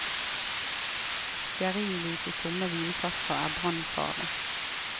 Stearinlys i tomme vinflasker er brannfarlig.